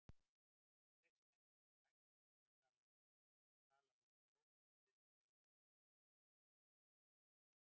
Það sem ekki er hægt að tala um hljótum við að þegja um.